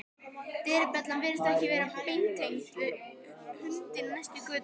Dyrabjallan virðist vera beintengd við hundinn í næstu götu.